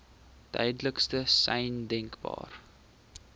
duidelikste sein denkbaar